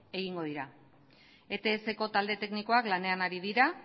egingo dira etsko talde teknikoa lanean ari dira